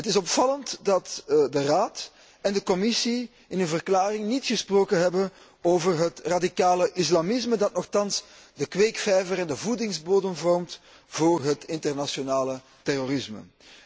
Het is opvallend dat de Raad en de Commissie in hun verklaring niet gesproken hebben over het radicale islamisme dat nochtans de kweekvijver en de voedingsbodem vormt voor het internationale terrorisme.